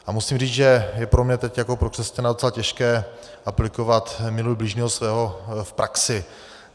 A musím říct, že je pro mě teď jako pro křesťana docela těžké aplikovat "miluj bližního svého" v praxi.